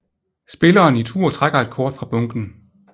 Spilleren i tur trækker et kort fra bunken